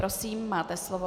Prosím, máte slovo.